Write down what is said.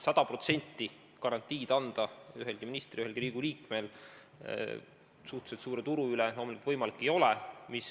Sada protsenti garantiid ei ole suhteliselt suure turu korral võimalik anda ühelgi ministril, ühelgi Riigikogu liikmel.